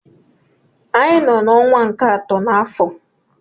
Anyị nọ n'ọnwa nke atọ n'afọ.